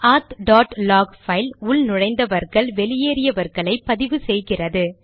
ஆத் dot log file உள்நுழைந்தார்கள் வெளியேறினார்களை பதிவு செய்கிறது